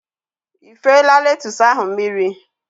Ifela letus ahụ mmiri?